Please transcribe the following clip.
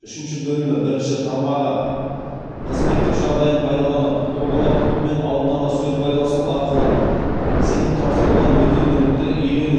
үшінші бөлімі бірінші тармағы қызметтік жағдайын пайдаланып тұлғалар тобымен алдын ала сөз байласу арқылы сеніп тапсырылған бөтен мүлікті иелену